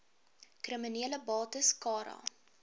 kriminele bates cara